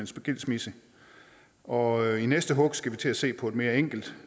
skilsmisse og i næste hug skal vi til at se på et mere enkelt